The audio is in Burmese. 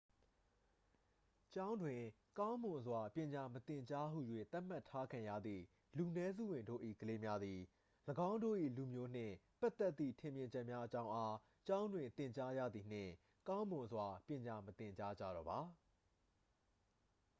"""ကျောင်းတွင် ကောင်းမွန်စွာပညာမသင်ကြားဟူ၍ သတ်မှတ်ထားခံရသည့် လူနည်းစုဝင်တို့၏ ကလေးများသည် ၎င်းတို့၏ လူမျိုးနှင့်ပတ်သက်သည့် ထင်မြင်ချက်များအကြောင်းအား ကျောင်းတွင် သင်ကြားရသည်နှင့် ကောင်းမွန်စွာ ပညာမသင်ကြားကြတော့ပါ။""